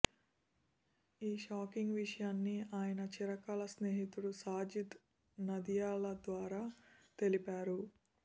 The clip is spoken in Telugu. ఈ షాకింగ్ విషయాన్ని ఆయన చిరకాల స్నేహితుడు సాజిద్ నదియాద్వాలా తెలిపారు